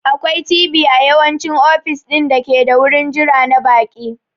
Akwai TV a yawanci ofis ɗin dake da wurin jira na baƙi..